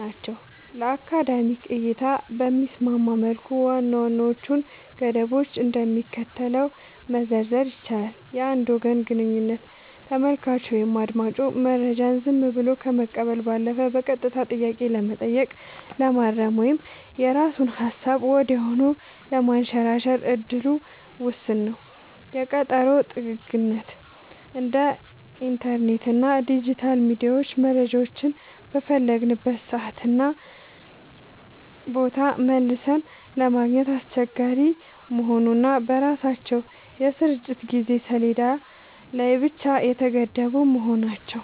ናቸው። ለአካዳሚክ እይታ በሚስማማ መልኩ ዋና ዋናዎቹን ገደቦች እንደሚከተለው መዘርዘር ይቻላል፦ የአንድ ወገን ግንኙነት : ተመልካቹ ወይም አዳማጩ መረጃውን ዝም ብሎ ከመቀበል ባለፈ በቀጥታ ጥያቄ ለመጠየቅ፣ ለማረም ወይም የራሱን ሃሳብ ወዲያውኑ ለማንሸራሸር እድሉ ውስን ነው። የቀጠሮ ጥግግት : እንደ ኢንተርኔት እና ዲጂታል ሚዲያ መረጃዎችን በፈለግንበት ሰዓትና ቦታ መልሰን ለማግኘት አስቸጋሪ መሆኑ እና በራሳቸው የስርጭት የጊዜ ሰሌዳ ላይ ብቻ የተገደቡ መሆናቸው።